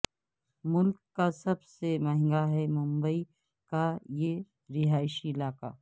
ملک کا سب سے مہنگا ہے ممبئی کا یہ رہائشی علاقہ